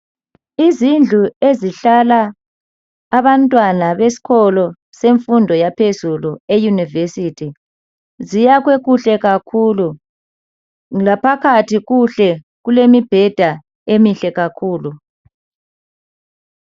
Izindlu ezihlala abantwana besikolo semfundo yaphezulu eyunivesithi ziyakhwe kuhle kakhulu Laphakathi kuhle kulemibheda emihle kakhulu